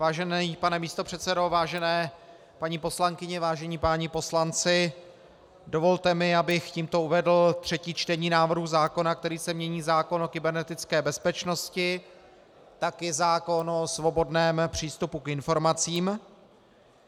Vážený pane místopředsedo, vážené paní poslankyně, vážení páni poslanci, dovolte mi, abych tímto uvedl třetí čtení návrhu zákona, kterým se mění zákon o kybernetické bezpečnosti, tak i zákon o svobodném přístupu k informacím.